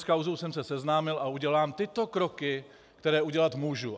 S kauzou jsem se seznámil a udělám tyto kroky, které udělat můžu.